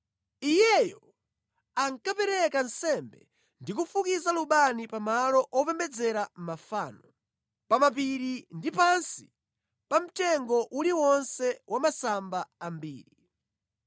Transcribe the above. Iyeyo ankapereka nsembe ndi kufukiza lubani pa malo opembedzera mafano, pa mapiri ndi pansi pa mtengo uliwonse wa masamba ambiri.